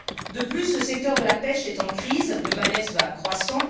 De plus, le secteur de la pêche est en crise. Le malaise va croissant.